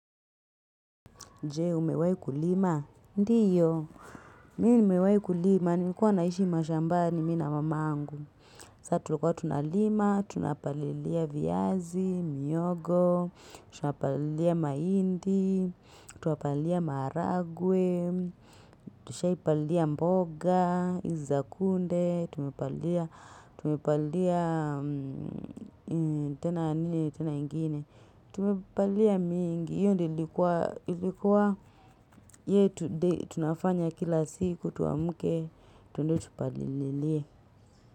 Je, umewahi kulima? Ndiyo. Mi nimewahi kulima. Nimekuwa naishi mashambani mimi na mamangu. Sa tulikuwa tunalima, tunapalilia viazi, mihogo. Tunapalilia mahindi. Tunapalilia maharagwe. Tushaipalilia mboga, hizi za kunde. Tumepalilia. Tumepalilia. Tena nini, tena ingine. Tumepalilia mingi. Hiyo ndiyo ilikuwa ilikuwa, yetu day tunafanya kila siku tuamke tuende tupalililie.